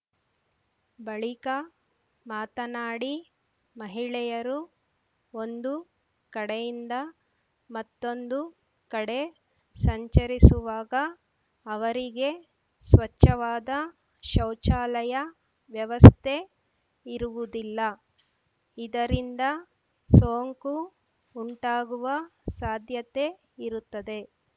ಬಳಿಕ ಮಾತನಾಡಿ ಮಹಿಳೆಯರು ಒಂದು ಕಡೆಯಿಂದ ಮತ್ತೊಂದು ಕಡೆ ಸಂಚರಿಸುವಾಗ ಅವರಿಗೆ ಸ್ಪಚ್ಛವಾದ ಶೌಚಾಲಯ ವ್ಯವಸ್ಥೆ ಇರುವುದಿಲ್ಲ ಇದರಿಂದ ಸೊಂಕು ಉಂಟಾಗುವ ಸಾಧ್ಯತೆಯಿರುತ್ತದೆ